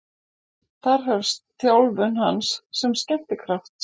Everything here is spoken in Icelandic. Þar hefst þjálfun hans sem skemmtikrafts.